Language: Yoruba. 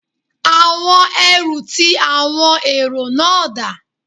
Àwọn ẹrú ti àwọn èrò náà dà?